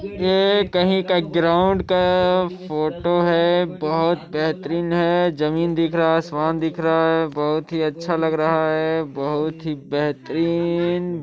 यह कहीं के ग्राउंड का फोटो है बहुत बेहतरीन है जमीन दिख रही है आसमान दिख रहा है बहुत ही अच्छा है बहुत ही बेहतरन--